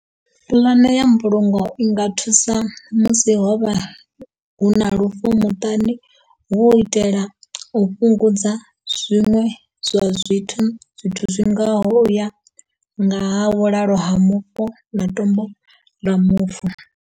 Puḽane ya mbulungo i nga thusa musi ho vha hu na lufu muṱani hu u itela u fhungudza zwiṅwe zwa zwithu zwithu zwi ngaho uya nga ha vhulalo ha mufu na tombo ḽa mufu.